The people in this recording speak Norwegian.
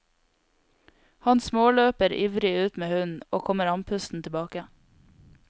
Han småløper ivrig ut med hunden, og kommer andpusten tilbake.